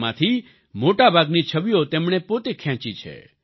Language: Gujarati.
તેમાંથી મોટાભાગની છબીઓ તેમણે પોતે ખેંચી છે